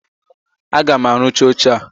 Aga m arụcha oche a!